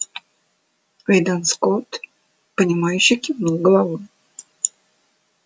уидон скотт понимающе кивнул головой